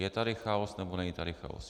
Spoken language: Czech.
Je tady chaos, nebo tady není chaos?